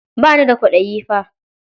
Ba ni da kwaɗayi fa.